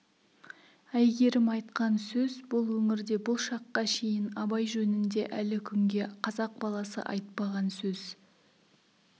әйгерім айтқан сөз бұл өңірде бұл шаққа шейін абай жөнінде әлі күнге қазақ баласы айтпаған сөз